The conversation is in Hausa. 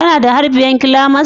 kana da har biyar climax